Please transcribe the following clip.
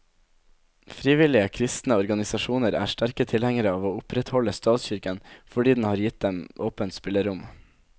Frivillige kristne organisasjoner er sterke tilhengere av å opprettholde statskirken, fordi den har gitt dem åpent spillerom.